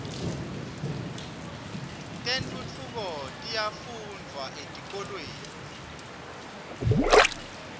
tentfutfuko tiyafundvwa etikolweni